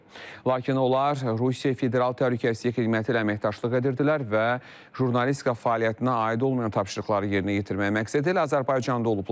Lakin onlar Rusiya Federal Təhlükəsizlik Xidməti ilə əməkdaşlıq edirdilər və jurnalist fəaliyyətinə aid olmayan tapşırıqları yerinə yetirmək məqsədilə Azərbaycanda olublar.